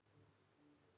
Af hverju ekki núna?